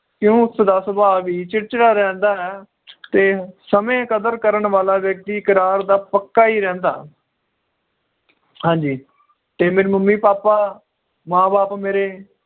ਕਿਊ ਉਸ ਦਾ ਸੁਭਾਅ ਵੀ ਚਿੜਚਿੜਾ ਰਹਿੰਦਾ ਤੇ ਸਮੇ ਦੀ ਕਦਰ ਕਰਨ ਵਾਲਾ ਵ੍ਯਕ੍ਤਿ ਇਕਰਾਰ ਦਾ ਪੱਕਾ ਈ ਰਹਿੰਦਾ ਹਾਂਜੀ ਤੇ ਮੇਰੇ ਮੰਮੀ ਪਾਪਾ ਮਾਂ ਬਾਪ ਮੇਰੇ